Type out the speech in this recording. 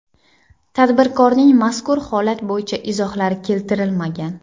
Tadbirkorning mazkur holat bo‘yicha izohlari keltirilmagan.